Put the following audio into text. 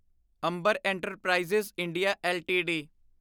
Amber enterprises India LTD